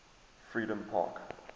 freedompark